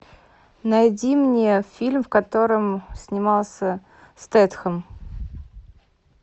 найди мне фильм в котором снимался стэтхэм